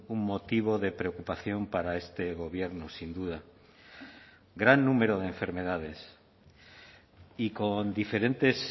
un motivo de preocupación para este gobierno sin duda gran número de enfermedades y con diferentes